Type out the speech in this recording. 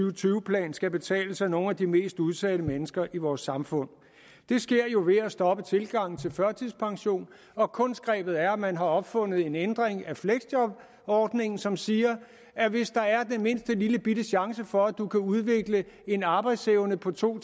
og tyve plan skal betales af nogle af de mest udsatte mennesker i vores samfund det sker jo ved at stoppe tilgangen til førtidspension og kunstgrebet er at man har opfundet en ændring af fleksjobordningen som siger at hvis der er den mindste lillebitte chance for at du kan udvikle en arbejdsevne på to